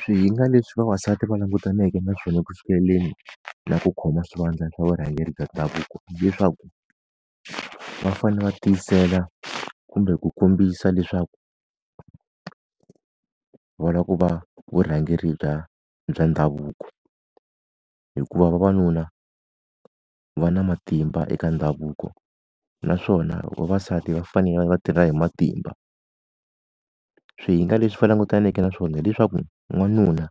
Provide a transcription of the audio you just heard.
Swihinga leswi vavasati va langutaneke na swona ku sulekeni na ku khoma swivandla swa vurhangeri ka ndavuko hileswaku, va fanele va tiyisela kumbe ku kombisa leswaku va lava ku va vurhangeri bya bya ndhavuko. Hikuva vavanuna va na matimba eka ndhavuko, naswona vavasati va fanele va tirha hi matimba. Swihinga leswi a langutaneke na swona hileswaku n'wanuna